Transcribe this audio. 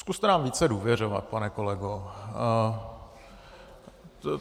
Zkuste nám více důvěřovat, pane kolego.